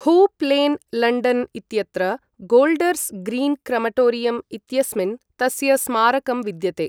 हूप् Lane, London इत्यत्र Golders Green crematorium इत्यस्मिन्, तस्य स्मारकं विद्यते।